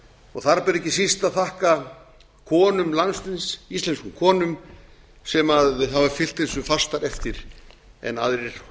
og þar ber ekki síst að þakka konum landsins íslenskum konum sem hafa fylgt þessu fastar eftir en aðrir